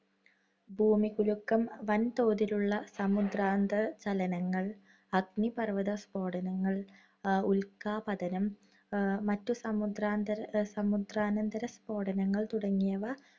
ഭൂമികുലുക്കം, വൻതോതിലുള്ള സമുദ്രാന്തർ ചലനങ്ങൾ, അഗ്നിപർവ്വതസ്ഫോടനങ്ങള്‍, ഉൽക്കാപതനം, മറ്റു സമുദ്രാന്തര~സമുദ്രാന്തരസ്ഫോടനങ്ങൾ തുടങ്ങിയവ